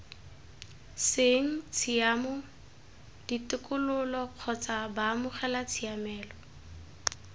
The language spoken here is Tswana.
seng tshiamo ditokololo kgotsa baamogelatshiamelo